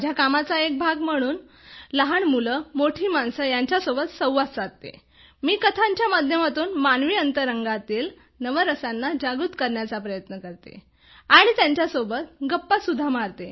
माझ्या कामाचा एक भाग म्हणून लहान मुले आणि मोठी माणसे यांच्यासोबत संवाद साधताना मी कथांच्या माध्यमातून मानवी अंतरंगातील नवरसांना जागृत करण्याचा प्रयत्न करते आणि त्यांच्या सोबत गप्पा सुद्धा मारते